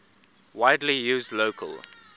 widely used local